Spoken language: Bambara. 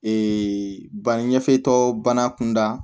Ee banni ɲɛfɛtɔ bana kunda